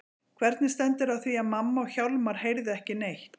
Hvernig stendur á því að mamma og Hjálmar heyrðu ekki neitt?